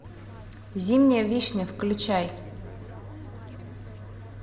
зимняя вишня включай